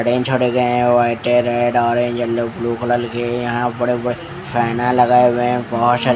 Drain छोड़े गए है व्हाइट है red orange yellow blue colour के यहाँ बड़े बड़े फैना लगाए हुए है ।